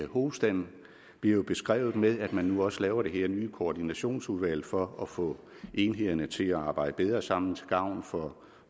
hovedstaden bliver jo beskrevet ved at man nu også laver det her nye koordinationsudvalg for at få enhederne til at arbejde bedre sammen til gavn for